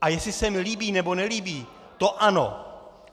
A jestli se mi líbí, nebo nelíbí, to ano.